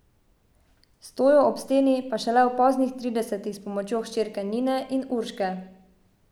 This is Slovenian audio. Stojo ob steni pa šele v poznih tridesetih s pomočjo hčerke Nine in Urške.